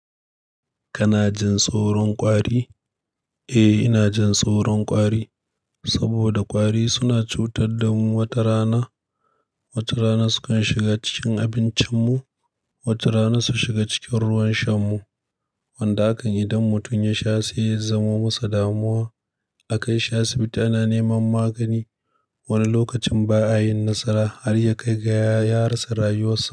Kana jin tsoron ƙwari? Eh, ina jin tsoron ƙwari saboda ƙwari suna cutar da mu watarana. Watarana sukan shiga cikin abincinmu, watarana su shiga cikin ruwan sha mu wanda hakan idan mutum ya sha sai ya zama masa damuwa. A kai shi asibiti ana neman magani wani lokacin ba a yin nasara har ya kai ga ya rasa rayuwarsa.